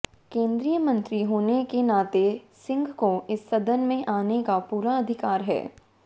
केन्द्रीय मंत्री होने के नाते सिंह को इस सदन में आने का पूरा अधिकार है